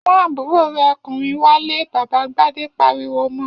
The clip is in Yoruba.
Mú àbúrò rẹ̀ ọkùnrin wálé! Bàbá Gbadé pariwo mọ.